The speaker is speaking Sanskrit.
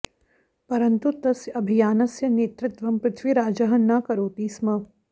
परन्तु तस्य अभियानस्य नेतृत्वं पृथ्वीराजः न करोति स्म